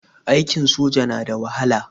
Aikin soja na da wahala.